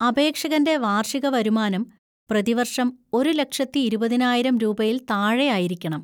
അപേക്ഷകന്‍റെ വാർഷിക വരുമാനം പ്രതിവർഷം ഒരു ലക്ഷത്തി ഇരുപതിനായിരം രൂപയിൽ താഴെയായിരിക്കണം.